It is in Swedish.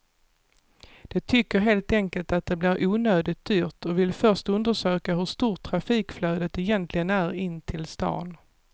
De tycker helt enkelt att det blir onödigt dyrt och vill först undersöka hur stort trafikflödet egentligen är in till stan.